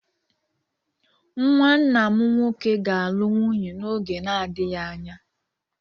Nwa nna m nwoke ga-alụ nwunye n'oge na-adịghị anya.